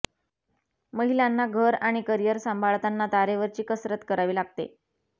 महिलांना घर आणि करिअर सांभाळताना तारेवरची कसरत करावी लागते